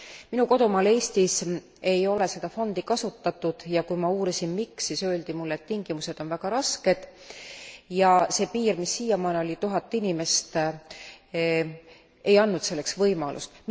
Minu kodumaal Eestis ei ole seda fondi kasutatud ja kui ma uurisin, miks, siis öeldi mulle, et tingimused on väga rasked ja see piir, mis siiamaani oli tuhat inimest, ei andnud selleks võimalust.